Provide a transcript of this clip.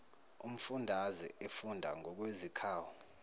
umfundaze efunda ngokwezikhawu